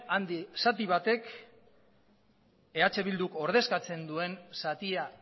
zati handi batek eh bilduk ordezkatzen duen zatia